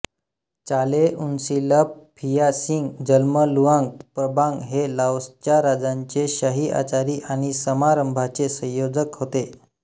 चालेउन्सिलप Phia Sing जन्मलुआंग प्रबांग हे लाओसच्या राजांचे शाही आचारी आणि समारंभांचे संयोजक होते